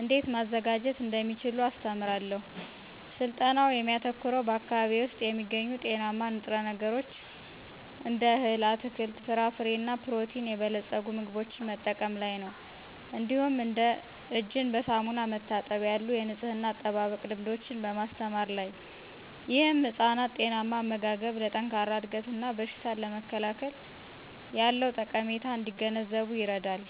እንዴት ማዘጋጀት እንደሚችሉ አስተምራለሁ። ስልጠናው የሚያተኩረው በአካባቢዬ ውስጥ የሚገኙ ጤናማ ንጥረ ነገሮችን እንደ እህል፣ አትክልት፣ ፍራፍሬ እና በፕሮቲን የበለጸጉ ምግቦችን መጠቀም ላይ ነው። እንዲሁም እንደ እጅን በሳሙና መታጠብ ያሉ የንፅህና አጠባበቅ ልምዶችን በማስተማር ላይ። ይህም ህፃናት ጤናማ አመጋገብ ለጠንካራ እድገት እና በሽታን ለመከላከል ያለውን ጠቀሜታ እንዲገነዘቡ ይረዳል።